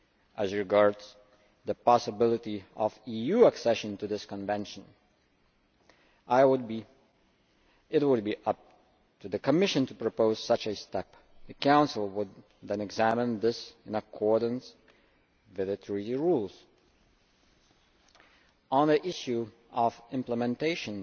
As regards the possibility of EU accession to this Convention, it would be up to the Commission to propose such a step. The Council would then examine this in accordance with the Treaty rules. On the issue of implementation,